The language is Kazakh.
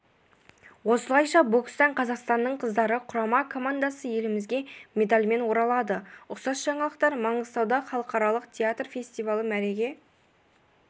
осылайша бокстан қазақстанның қыздар құрама командасы елімізге медальмен оралады ұқсас жаңалықтар маңғыстауда халықаралық театр фестивалі мәреге